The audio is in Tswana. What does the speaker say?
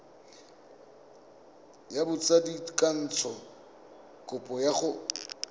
ya botsadikatsho kopo ya go